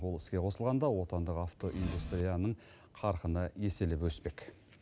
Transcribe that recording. ол іске қосылғанда отандық автоиндустрияның қарқыны еселеп өспек